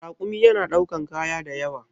Rakumi yana ɗaukan kaya da yawa.